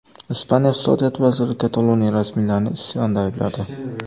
Ispaniya iqtisodiyot vaziri Kataloniya rasmiylarini isyonda aybladi.